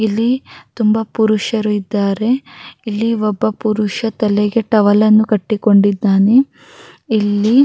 ಇಲ್ಲಿ ತುಂಬ ಪುರುಷರು ಇದ್ದಾರೆ ಇಲ್ಲಿ ಒಬ್ಬ ಪುರುಷ ತಲೆಗೆ ಟವೆಲ್‌ ಅನ್ನು ಕಟ್ಟಿಕೊಂಡಿದ್ದಾನೆ ಇಲ್ಲಿ.